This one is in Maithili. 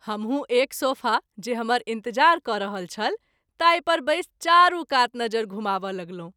हमहू एक सोफा जे हमर इंतजार क’ रहल छल ताहि पर बैस चारू कात नजरि घुमाब’ लगलहुँ।